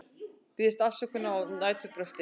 Biðjast afsökunar á næturbrölti